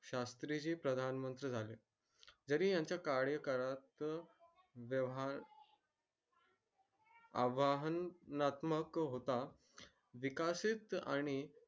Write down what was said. शास्री जी प्रधानमंत्री झाले जरी यांच्या कार्यकाळात आवाहनात्मक होता विकसित आणि